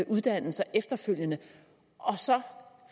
uddannelser efterfølgende og så